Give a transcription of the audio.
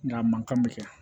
Nga a man kan bɛ kɛ